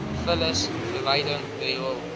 vullis verwydering riool